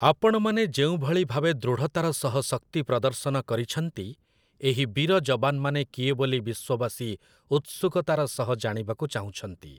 ଆପଣମାନେ ଯେଉଁଭଳି ଭାବେ ଦୃଢ଼ତାର ସହ ଶକ୍ତି ପ୍ରଦର୍ଶନ କରିଛନ୍ତି, ଏହି ବୀର ଯବାନମାନେ କିଏ ବୋଲି ବିଶ୍ଵବାସୀ ଉତ୍ସୁକତାର ସହ ଜାଣିବାକୁ ଚାହୁଁଛନ୍ତି ।